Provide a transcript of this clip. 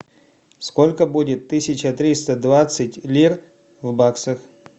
сколько будет тысяча триста двадцать лир в баксах